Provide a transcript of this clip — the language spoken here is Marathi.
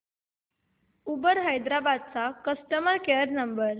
उबर हैदराबाद चा कस्टमर केअर नंबर